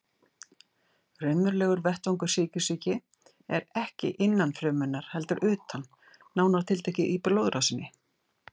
Raunverulegur vettvangur sykursýki er ekki innan frumunnar heldur utan, nánar tiltekið í blóðrásinni.